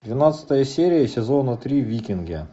двенадцатая серия сезона три викинги